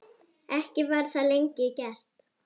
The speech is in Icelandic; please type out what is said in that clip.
Ekki var það lengi gert.